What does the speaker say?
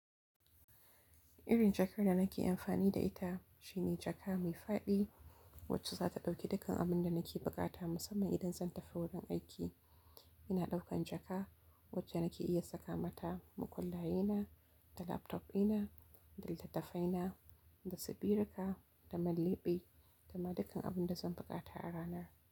Irin jakar da nake amfani da ita shine jaka mai faɗi wacce zata ɗauki dukkan abunda nake bukata musamman idan zan tafi wajen aiki. Ina ɗaukan jaka wacce nake iya saka mata makullaye na, da laptop ɗina, da littattafai na, dasu biru ka, da man lebe, da ma dukkan abinda zan bukata a ranar.